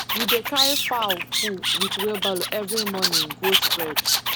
we dey carry fowl poo with wheelbarrow every morning go spread